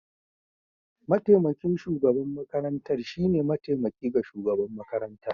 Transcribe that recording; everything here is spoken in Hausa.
Mataimakin shugaban makarantar shine mataimaki ga shugaban makarantar.